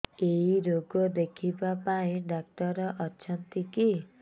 ଏଇ ରୋଗ ଦେଖିବା ପାଇଁ ଡ଼ାକ୍ତର ଅଛନ୍ତି କି